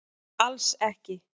Alls ekki